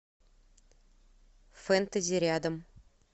фэнтези рядом